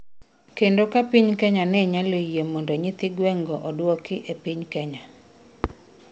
kendo ka Piny Kenya ne nyalo yie mondo nyithi gwen'go oduoki e piny Kenya